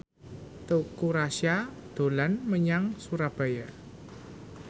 Teuku Rassya dolan menyang Surabaya